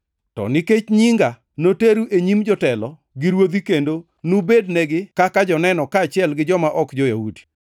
To nikech nyinga, noteru e nyim jotelo gi ruodhi kendo nubednegi kaka joneno kaachiel gi joma ok jo-Yahudi.